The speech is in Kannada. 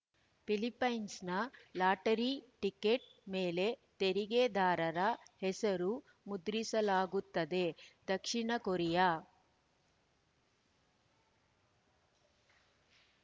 ಫಿಲಿಫೈನ್ಸ್ ಲಾಟರಿ ಟಿಕೆಟ್‌ ಮೇಲೆ ತೆರಿಗೆದಾರರ ಹೆಸರು ಮುದ್ರಿಸಲಾಗುತ್ತದೆ ದಕ್ಷಿಣ ಕೊರಿಯಾ